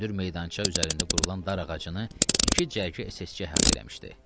Hündür meydança üzərində qurulan dar ağacını iki cərgə SSÇ əhatə eləmişdi.